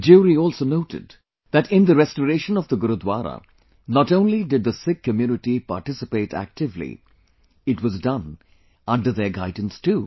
The jury also noted that in the restoration of the Gurudwara not only did the Sikh community participate actively; it was done under their guidance too